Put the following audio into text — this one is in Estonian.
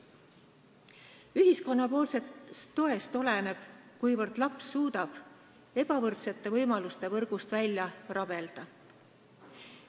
Ühiskonna toest oleneb, kuivõrd laps suudab ebavõrdsete võimaluste võrgust välja rabelda.